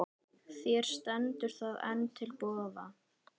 Þér stendur það enn til boða.